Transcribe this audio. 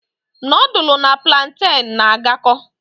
Nudulu na pulanten n'agako